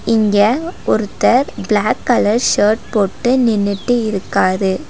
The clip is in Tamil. இங்க ஒருத்தர் ப்ளாக் கலர் ஷர்ட் போட்டு நின்னுட்டு இருக்காரு.